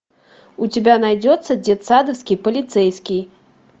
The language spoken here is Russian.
у тебя найдется детсадовский полицейский